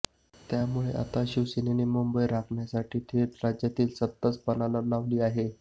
त्यामुळे आता शिवसेनेने मुंबई राखण्यासाठी थेट राज्यातील सत्ताच पणाला लावली आहे